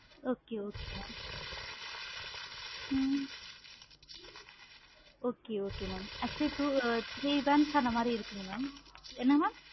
okay okay ma'am hmm okay okay ma'am actually two three brands அந்த மாதிரி இருக்கு mam